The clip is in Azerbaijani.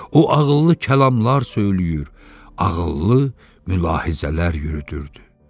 O ağıllı kəlamlar söyləyir, ağıllı mülahizələr yürüdürdü.